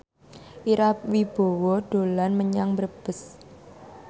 Ira Wibowo dolan menyang Brebes